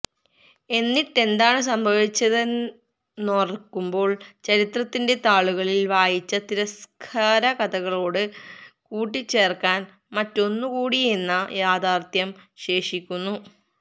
എന്നിട്ടെന്താണ് സംഭവിച്ചതെേന്നോർക്കുമ്പോൾ ചരിത്രത്തിന്റെ താളുകളിൽ വായിച്ച തിരസ്കാരകഥകളോട് കൂട്ടിച്ചേർക്കാൻ മറ്റൊന്നുകൂടിയെന്ന യാഥാർത്ഥ്യം ശേഷിക്കുന്നു